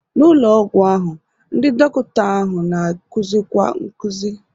N'ụlọ ọgwụ ahụ, ndị dọkịta ahụ na-akuzikwa nkuzi.